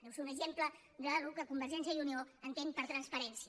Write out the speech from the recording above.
deu ser un exemple del que convergència i unió entén per transparència